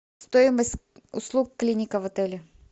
стоимость услуг клиника в отеле